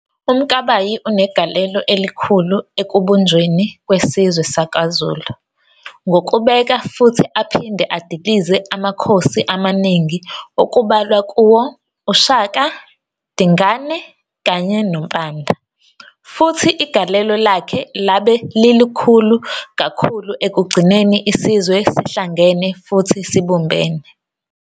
UMkabayi unegalelo elikhulu ekubunbjweni kwesizwe sakwaZulu ngokubeka futhi aphinde adilize amakhosi amaningi okubalwa kuwo uShaka, Dingane kanye noMpande. Futhi igalelo lakhe labe lilikhulu kakhulu ekugcineni isizwe sihlangene futhi sibumbene.